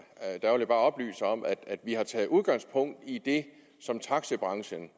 der vil jeg bare oplyse om at vi har taget udgangspunkt i det som taxibranchen